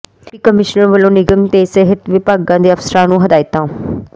deputy commissioner ਵੱਲੋਂ ਨਿਗਮ ਤੇ ਸਿਹਤ ਵਿਭਾਗ ਦੇ ਅਫਸਰਾਂ ਨੂੰ ਹਦਾਇਤਾਂ